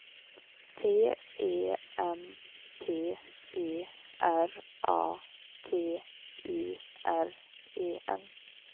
T E M P E R A T U R E N